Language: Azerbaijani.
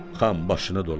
Xan başını dolanım.